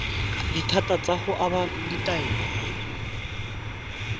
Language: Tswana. dithata tsa go aba ditaelo